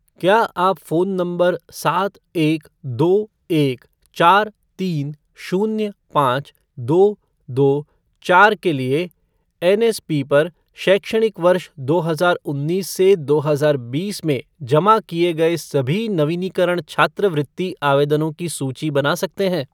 क्या आप phone number सात एक दो एक चार तीन शून्य पाँच दो दो चार के लिए एनएसपी पर शैक्षणिक वर्ष दो हजार उन्नीस से दो हजार बीस में जमा किए गए सभी नवीनीकरण छात्रवृत्ति आवेदनों की सूची बना सकते हैं ?